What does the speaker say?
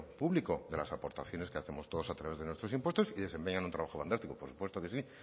público de las aportaciones que hacemos todos a través de nuestros impuestos y desempeñan un trabajo fantástico por supuesto que sí